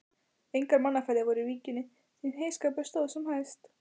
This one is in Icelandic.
Engar mannaferðir voru í víkinni, því heyskapur stóð sem hæst.